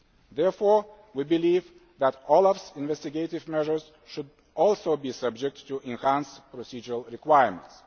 Therefore we believe that OLAF's investigative measures should also be subject to enhanced procedural requirements.